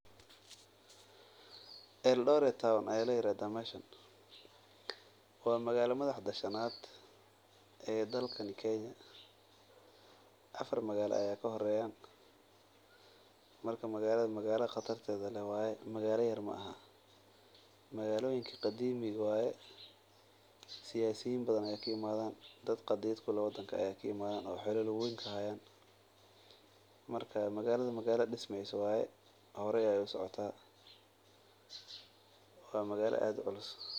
Eldoret town ayay leeya radhaa meeshan. Waa magaalada Madaxda Shanaad ee dalkani Kenya. Afar magaalayaal ka hor reeyaan. Marka magaalada magaalada khatarta ee le waaye, magaalayaal yar ma aha. Magaalooyinka qadiimiigoo waaye siyaasiyiin badan ayakiimaadaan dad qadiid ku loo waddanka ayakiimaadaan u xallu lagu wayn ka haayaan. Markaa magaaladu magaaladh dhismaysi waaye, horey ay u socontaan. Waa magaalada aad cuulus.